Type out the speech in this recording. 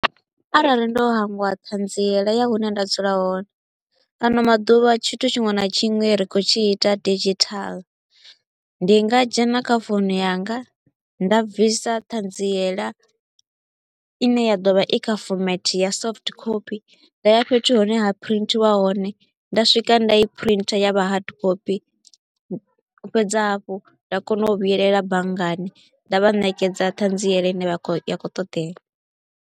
Arali ndo hangwa ṱhanziela ya hune nda dzula hone, ano maḓuvha tshithu tshiṅwe na tshiṅwe ri kho u tshi ita digital, ndi nga dzhena kha founu yanga nda bvisa ṱhanziela i ne ya ḓovha i kha format ya soft copy. Nda ya fhethu hune ha printiwa hone, nda swika nda i printer ya vha hard copy, nda fhedza hafhu nda kona u vhuelela banngani nda vha ṋekedza ṱhanziela i ne ya kho u ṱoḓea.